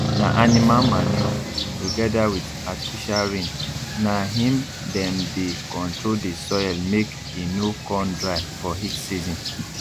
na animal manure together with artificial rain na him dem dey control the soilmake e no con dry for heat season